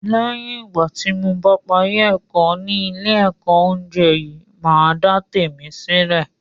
Lẹ́yìn ìgbà tí mo bá parí ẹ̀kọ́ ni ile ẹ̀kọ́ oúnjẹ yìí, màá dá tèmi sílè